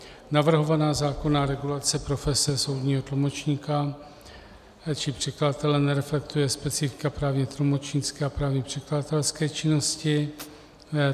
Navrhovaná zákonná regulace profese soudního tlumočníka či překladatele nereflektuje specifika právně tlumočnické a právně překladatelské činnosti.